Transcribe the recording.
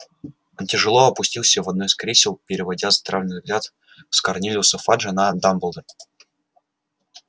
он тяжело опустился в одно из кресел переводя странный взгляд с корнелиуса фаджа на дамблдора